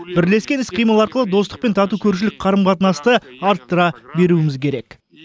бірлескен іс қимыл арқылы достық пен тату көршілік қарым қатынасты арттыра беруіміз керек